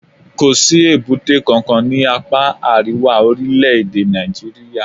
Kò sí èbúté kankan ní apá àríwá orílẹ̀-èdè Nàìjíríà.